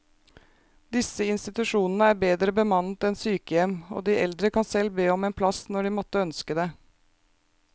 Disse institusjonene er bedre bemannet enn sykehjem, og de eldre kan selv be om en plass når de måtte ønske det.